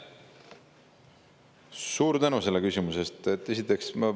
Suur tänu selle küsimuse eest!